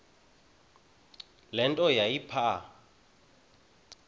le nto yayipha